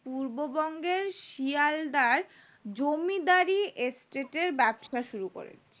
পূর্ব বঙ্গের শেয়ালদার জমিদারি state এর ব্যবসা শুরু করেন